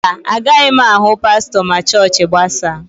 Mba, agaghị m ahụ pastọ ma chọọchị gbasaa.